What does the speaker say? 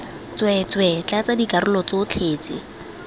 tsweetswee tlatsa dikarolo tsotlhe tse